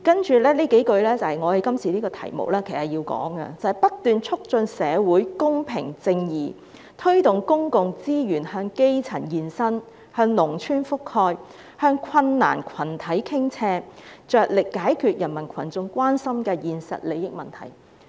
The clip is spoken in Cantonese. "接下來的幾句正切合我們今天的辯論題目，應在這環節中提出："不斷促進社會公平正義，推動公共資源向基層延伸、向農村覆蓋、向困難群體傾斜，着力解決人民群眾關心的現實利益問題。